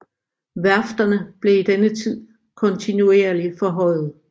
Værfterne blev i denne tid kontinuerlig forhøjet